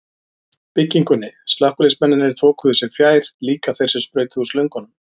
byggingunni, slökkviliðsmennirnir þokuðu sér fjær, líka þeir sem sprautuðu úr slöngunum.